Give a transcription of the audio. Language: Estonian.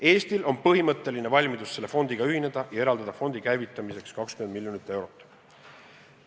Eestil on põhimõtteline valmidus selle fondiga ühineda ja eraldada fondi käivitamiseks 20 miljonit eurot.